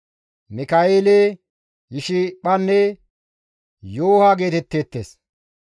Mika7eele, Yishiphanne Yooha geetetteettes.